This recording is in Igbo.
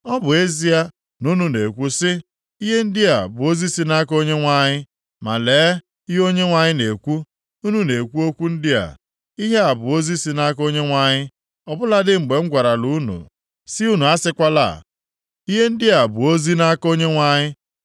Ọ bụ ezie na unu na-ekwu sị, ‘Ihe ndị a bụ ozi si nʼaka Onyenwe anyị,’ ma lee ihe Onyenwe anyị na-ekwu: Unu na-ekwu okwu ndị a, ‘Ihe a bụ ozi si nʼaka Onyenwe anyị,’ ọ bụladị mgbe m gwarala unu si unu asịkwala ‘Ihe ndị a bụ ozi nʼaka Onyenwe anyị.’